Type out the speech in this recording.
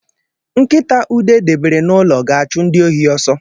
Nkita Ude debere n’ụlọ ga-achụ ndi ohi ọsọ